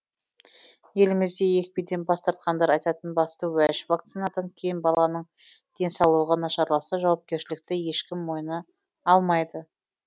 елімізде екпеден бас тартқандар айтатын басты уәж вакцинадан кем баланың денсаулығы нашарласа жауапкершілікті ешкім мойына алмайды